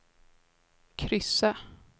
kryssa